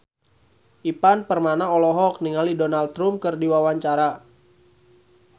Ivan Permana olohok ningali Donald Trump keur diwawancara